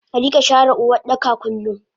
Arika share Uwardaka kullum